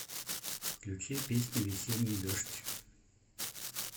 включи песню весенний дождь